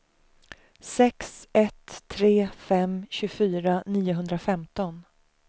sex ett tre fem tjugofyra niohundrafemton